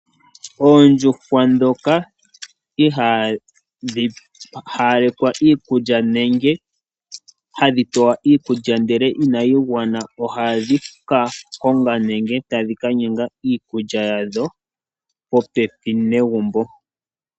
Oondjuhwa dhoka ihadhi hayalekwa iikulya nenge ihadhi pewa iikulya ndele inayi gwana ohadhi ka konga nenge tadhi ka nyanga iikulya yawo popepi negumbo.